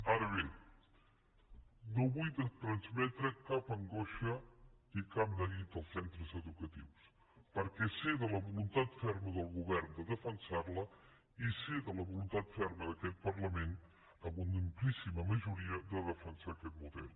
ara bé no vull transmetre cap angoixa ni cap neguit als centres educatius perquè sé de la voluntat ferma del govern de defensar la i sé de la voluntat ferma d’aquest parlament amb una amplíssima majoria de defensar aquest model